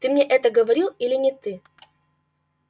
ты мне это говорил или не ты